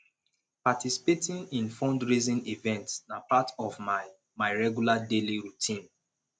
participating in fundraising events na part of my my regular daily routine